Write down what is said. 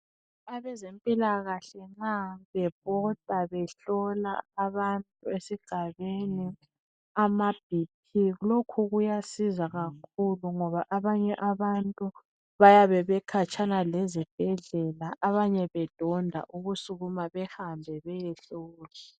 Abezimpilakahle nxa bebhoda behlola abantu esigabeni ama bp lokhu kuyasiza kakhulu ngoba abanye abantu bayabe bekhatshana lezibhedlela abanye bedonda ukusukuma behambe bayehlolwa.